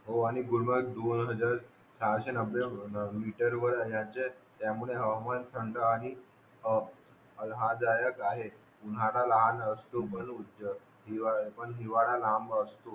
हो आणि गुलमर्ग गुलमर्ग सहाशे मीटर वर आहे आणि यांचे त्यामुळे हवामान थंड आणि ए आरामदायक आहे महान लहान पण हिवाळा लांब असतो